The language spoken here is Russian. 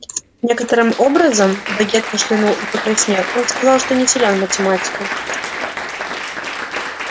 некоторым образом богерт кашлянул и покраснел он сказал что не силен в математике